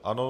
Ano.